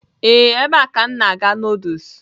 Ee, ebe a ka m na-aga noodles.